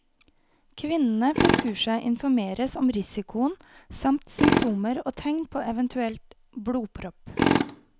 Kvinnene på kurset informeres om risikoen, samt symptomer og tegn på en eventuell blodpropp.